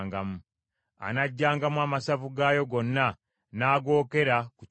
Anaggyangamu amasavu gaayo gonna n’agookera ku kyoto,